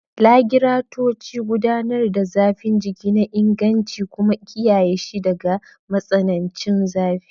Lagiratoci gudanar da zafin jiki na injin kuma kiyaye shi daga matsanancin zafi.